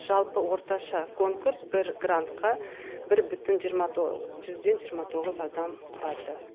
жалпы орташа конкурс бір грантқа бір бүтін жиырма жүзден жиырма тоғыз адам құрады